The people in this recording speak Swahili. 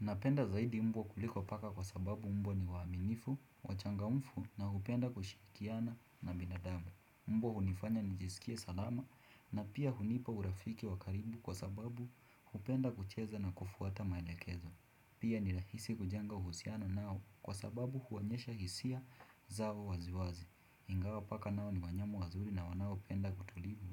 Napenda zaidi mbwa kuliko paka kwa sababu mbwa ni waaminifu, wachangamfu na hupenda kushirikiana na binadamu. Mbwa hunifanya nijisikie salama na pia hunipa urafiki wa karibu kwa sababu hupenda kucheza na kufuata maelekezo. Pia ni rahisi kujenga uhusiano nao kwa sababu huonyesha hisia zao waziwazi. Ingawa paka nao ni wanyama wazuri na wanaopenda utulivu